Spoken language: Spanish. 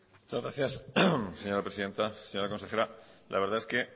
muchas gracias señora presidenta señora consejera la verdad es que